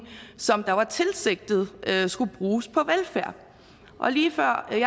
som var tilsigtet skulle bruges på velfærd lige før jeg